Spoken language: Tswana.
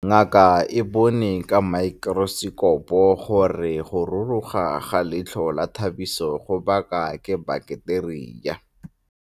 Ngaka e bone ka maekorosekopo gore go ruruga ga leitlho la Thabiso go baka ke baketeria.